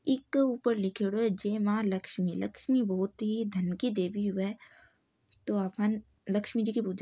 इके ऊपर लिखियोडो है जय मां लक्ष्मी लक्ष्मी बहुत ही धन की देवी हुए हैं तो आपन लक्ष्मी जी की पूजा --